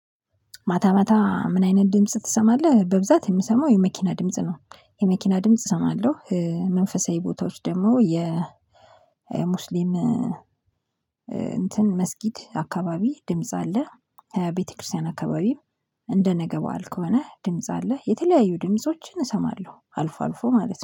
ማታ ማታ ምን አይነት ድምጽ ትሰማለህ? በብዛት የምሰማው የመኪና ድምጽ ነው የመኪና ድምጽ እሰማለሁ። መንፈሳዊ ቦታዎች ደግሞ የሙስሊም እንትን መስጊድ አካባቢ ድምጽ አለ። ቤተክርስቲያን አካባቢም። እንደ ነገ በዓል ከሆነ ድምጽ አለ የተለያዩ ድምፆችን እሰማለሁ አልፎ አልፎ ማለት ነው